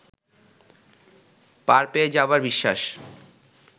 পার পেয়ে যাবার বিশ্বাস